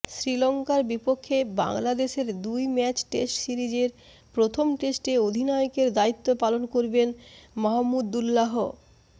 শ্রীলংকার বিপক্ষে বাংলাদেশের দুই ম্যাচ টেস্ট সিরিজের প্রথম টেস্টে অধিনায়কের দায়িত্ব পালন করবেন মাহমুদুল্লাহ